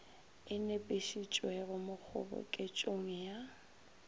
e nepišitšwego mo kgoboketšong ya